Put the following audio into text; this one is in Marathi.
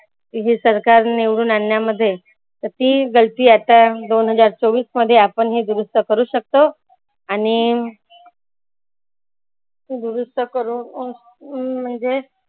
हे सरकार निवडून आनन्यामध्ये तर ती गलती आता दोन हजार चोवीस मध्ये आपन हे दुरुस्त करु शकतो. आणि दुरुस्त करुण अह म्हणजे